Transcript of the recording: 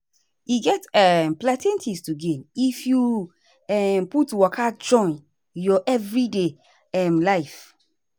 e get ehm plenty thing to gain if you um put waka join your everyday um life.